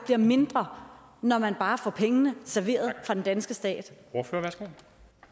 mindre når man bare får pengene serveret fra den danske stat